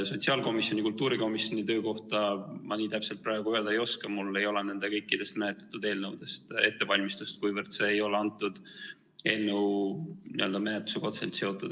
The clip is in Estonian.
Sotsiaalkomisjoni ja kultuurikomisjoni töö kohta ma nii täpselt praegu öelda ei oska, mul ei ole nende kõikide menetletud eelnõude kohta ettevalmistust, kuivõrd see ei ole antud eelnõu menetlusega otseselt seotud.